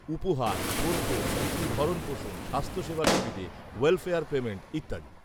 উপহার, খোরপোশ, শিশুর ভরণপোষণ, স্বাস্থ্যসেবা সুবিধে, ওয়েলফেয়ার পেমেন্ট ইত্যাদি।